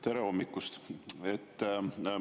Tere hommikust!